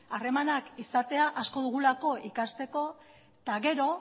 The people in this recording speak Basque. harremanak izatea asko dugulako ikasteko eta gero